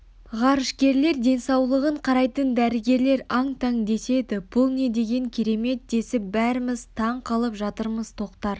ғарышкерлердің денсаулығын қарайтын дәрігерлер аң-таң деседі бұл не деген керемет десіп бәріміз таң қалып жатырмыз тоқтар